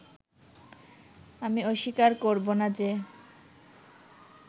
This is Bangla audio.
আমি অস্বীকার করবোনা যে